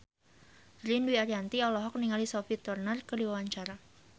Ririn Dwi Ariyanti olohok ningali Sophie Turner keur diwawancara